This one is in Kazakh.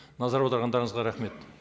назар аударғандарыңызға рахмет